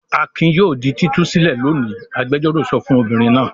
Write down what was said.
"Akin yóò di títú sílẹ̀ lónìí!" Agbẹjọ́rò sọ fún obìnrin náà.